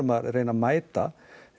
að reyna að mæta